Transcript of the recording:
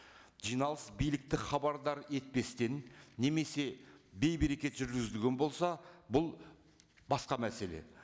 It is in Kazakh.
жиналыс билікті хабардар етпестен немесе бейберекет жүргізілген болса бұл басқа мәселе